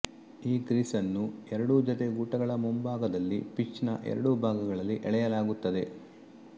ಈ ಕ್ರೀಸ್ ಅನ್ನು ಎರಡೂ ಜೊತೆ ಗೂಟಗಳ ಮುಂಭಾಗದಲ್ಲಿ ಪಿಚ್ ನ ಎರಡೂ ಭಾಗಗಳಲ್ಲಿ ಎಳೆಯಲಾಗುತ್ತದೆ